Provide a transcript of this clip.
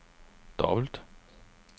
dobbelt